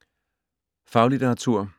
Faglitteratur